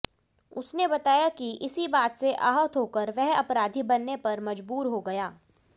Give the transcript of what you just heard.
उसने बताया कि इसी बात से आहत होकर वह अपराधी बनने पर मजबूर हो गया